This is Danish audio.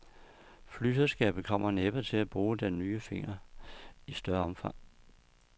Flyselskabet kommer næppe til at bruge den nye finger i større omfang.